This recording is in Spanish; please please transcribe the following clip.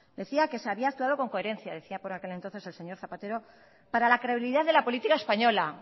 decía que se había actuado con coherencia decía por aquel entonces el señor zapatero para la credibilidad de la política española